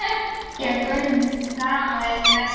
Að þeim greyja-görmunum gaman er hið mesta.